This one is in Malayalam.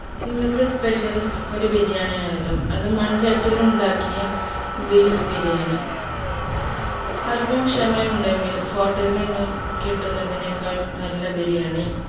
ഇന്നത്തെ special ഒരു ബിരിയാണിയാണേലും അത് മൺചട്ടിയിൽ ഉണ്ടാക്കിയ beef ബിരിയാണി അല്പം ക്ഷമ ഉണ്ടെങ്കിൽ hotel നിന്നും കിട്ടുന്നതിനേക്കാൾ നല്ല ബിരിയാണി